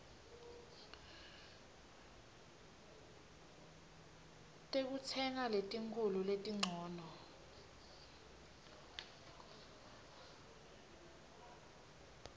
tekutsenga letinkhulu letincono